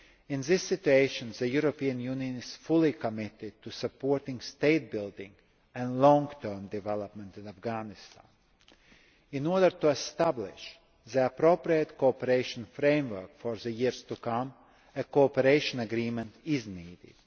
In this regard, the European Union is fully committed to supporting state building and long term development in Afghanistan. In order to establish the appropriate cooperation framework for the years to come, a cooperation agreement is needed.